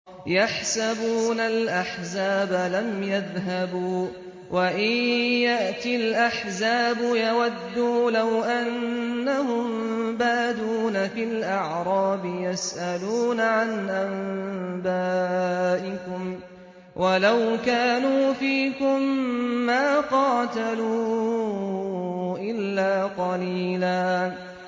يَحْسَبُونَ الْأَحْزَابَ لَمْ يَذْهَبُوا ۖ وَإِن يَأْتِ الْأَحْزَابُ يَوَدُّوا لَوْ أَنَّهُم بَادُونَ فِي الْأَعْرَابِ يَسْأَلُونَ عَنْ أَنبَائِكُمْ ۖ وَلَوْ كَانُوا فِيكُم مَّا قَاتَلُوا إِلَّا قَلِيلًا